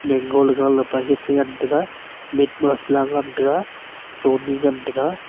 mango le gale paket chengan taiga meat masala ngan taiga sony ngan taiga.